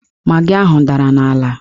Magị ahụ dara n'ala